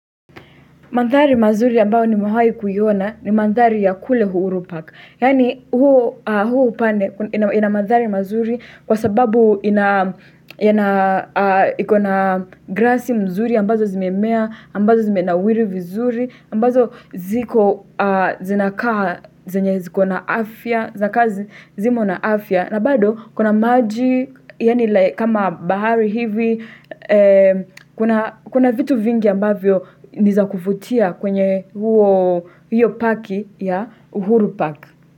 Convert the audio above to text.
Mandhari mazuri ambayo nimewahi kuiona ni mandhari ya kule uhuru park. Yaani huo upande ina mandhari mazuri kwa sababu ina iko na grassi mzuri ambazo zimemea, ambazo zimenawiri vizuri, ambazo zinakaa zinakaa ziko na afya, zinakaa zimo na afya. Na bado, kuna maji, kama bahari hivi, kuna vitu vingi ambavyo nizakuvutia kwenye huo parki ya uhuru Park.